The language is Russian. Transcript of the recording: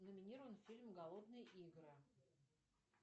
номинирован фильм голодные игры